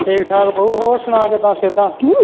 ਠੀਕ ਠਾਕ ਬਊ ਹੋਰ ਸੁਣਾ ਕਿੱਦਾਂ ਸਿਹਤਾਂ?